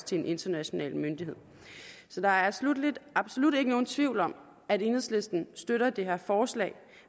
til en international myndighed så der er sluttelig absolut ikke nogen tvivl om at enhedslisten støtter det her forslag